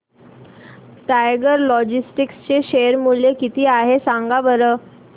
tiger Logistics चे share मूल्य किती आहे सांगा बरं